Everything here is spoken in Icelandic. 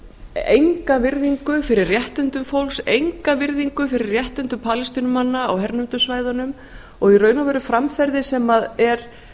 enga virðingu fyrir réttindum fólks enga virðingu fyrir réttindum palestínumanna á hernumdu svæðunum og í raun og veru framferði sem er